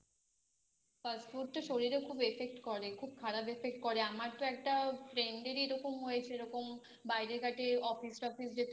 Fast food তো শরীরে খুব Effect করে খুব খারাপ Effect করে আমার তো একটা Friend এরই এরকম হয়েছে এরকম বাইরে ঘাটে Office office যেত